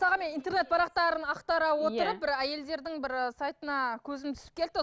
мен интернет парақтарын ақтара отырып иә бір әйелдердің бір сайтына көзім түсіп кетті